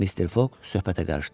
Mister Foq söhbətə qarışdı.